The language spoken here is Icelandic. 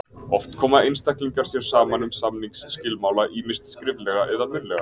Oft koma einstaklingar sér saman um samningsskilmála, ýmist skriflega eða munnlega.